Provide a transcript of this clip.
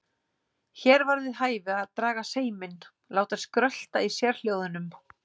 Hér var við hæfi að draga seiminn, láta skrölta í sérhljóðunum.